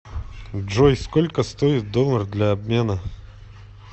джой сколько стоит доллар для обмена